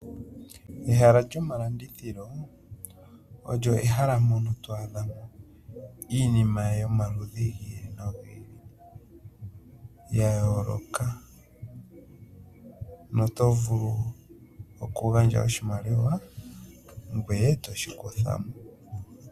Ehala lyomalandithilo olyo ehala mono to adhamo iinima yomaludhi gi ili nogi ili ya yooloka. No tovulu oku gandja oshimaliwa ngweye toshi kutha po.